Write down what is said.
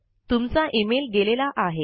तुमचा इमेल गेलेला आहे